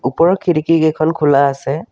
ওপৰৰ খিৰিকী কেইখন খোলা আছে।